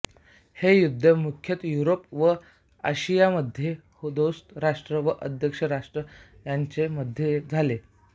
हे युद्ध मुख्यतः युरोप व आशियामध्ये दोस्त राष्ट्रे व अक्ष राष्ट्रे यांच्या मध्ये झाले